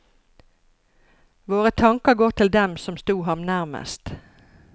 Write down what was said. Våre tanker går til dem som sto ham nærmest.